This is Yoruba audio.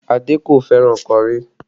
Adé kò fẹ́ràn kọrí